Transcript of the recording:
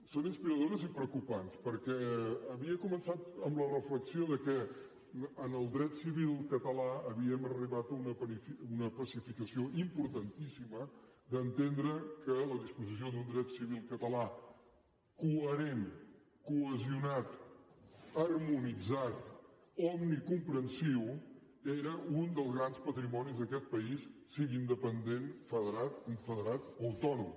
són inspiradores i preocupants perquè havia començat amb la reflexió que en el dret civil català havíem arribat a una pacificació importantíssima d’entendre que la disposició d’un dret civil català coherent cohesionat harmonitzat omnicomprensiu era un dels grans patrimonis d’aquest país sigui independent federat confederat o autònom